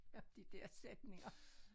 Af de dér sætninger